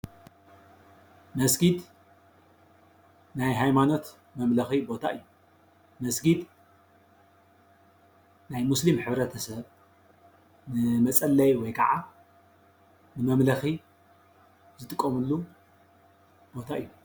መስጊድ ናይ ሃይማኖት መምለኺ ቦታ እዩ። መስጊድ ናይ ሙስሊም ሕብረተሰብ ንመፀለዪ ወይ ክዓ ንመምለኪ ዝጥቀምሉ ቦታ እዩ።